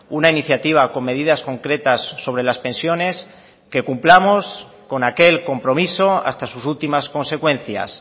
una iniciativa con medidas concretas sobre las pensiones que cumplamos con aquel compromiso hasta sus últimas consecuencias